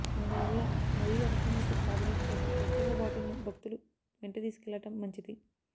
అందువల్ల మరీ అవసరమైతే తాగునీటి కోసం ప్రత్యేక బాటిల్ను భక్తులు వెంటతీసుకెళ్లడం మంచిది